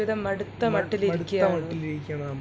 മ മടുത്ത മട്ടിൽ ഇരിക്കാണ്